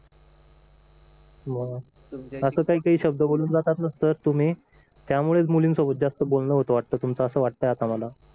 मग असं काही काही शब्द बोलून जात ना सर तुम्ही त्यामुळेच मुलींसोबत जास्त बोलणं होत वाटतं तुमचं असं वाटतय आता मला